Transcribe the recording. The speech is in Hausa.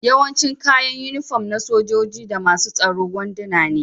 Yawancin kayan unifom na sojoji da masun tsoro wanduna ne.